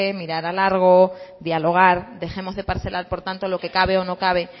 mirar a largo dialogar dejemos de parcelar por tanto lo que cabe o no cabe